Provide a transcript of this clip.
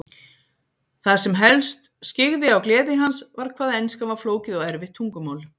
Það sem helst skyggði á gleði hans var hvað enskan var flókið og erfitt tungumál.